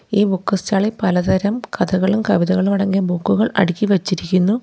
ഈ book stall ഇൽ പലതരം കഥകളും കവിതകളും അടങ്ങിയ ബുക്കുകൾ അടുക്കി വെച്ചിരിക്കുന്നു.